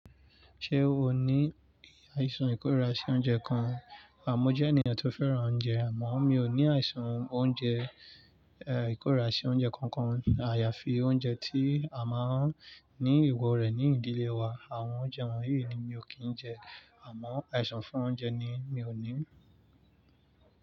Ṣé o ní àìsàn ìkórirà sí oúnjẹ kan? Á, mo jẹ́ ènìyàn tó fẹ́ràn oúnjẹ àmọ́ mi ò ní àìsàn oúnjẹ, eh ìkórirà sí oúnjẹ kankan. Àyàfi oúnjẹ tí a máa ń ní ewọ rẹ̀ ní ìdílé wa, àwọn oúnjẹ wọ̀nyí ni mi ò kí ń jẹ. Àmọ́ àìsàn fún oúnjẹ ni mi ò ní.